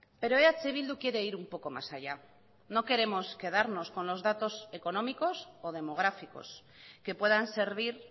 pero eh bildu quiere ir un poco más allá no queremos quedarnos con los datos económicos o demográficos que puedan servir